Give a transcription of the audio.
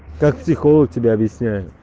как психолог тебя объясняю